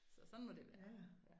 Så sådan må det være